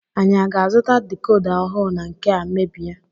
Anyị aga-azuta decoda ọhụụ na nkea mebie?